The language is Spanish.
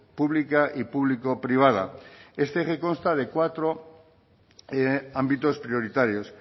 pública y público privada este eje consta de cuatro de ámbitos prioritarios